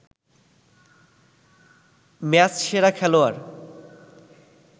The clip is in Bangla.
ম্যাচসেরা খেলোয়াড়